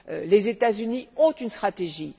Les États Unis ont une stratégie.